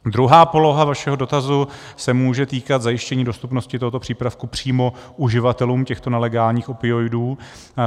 Druhá poloha vašeho dotazu se může týkat zajištění dostupnosti tohoto přípravku přímo uživatelům těchto nelegálních opioidů.